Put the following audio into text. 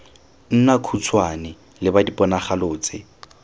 nna khutshwane leba diponagalo tse